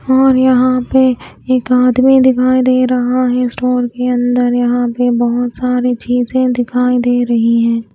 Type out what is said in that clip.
और यहां पे एक आदमी दिखाई दे रहा है स्टोर के अंदर यहां पे बहोत सारी चीजे दिखाई दे रही हैं।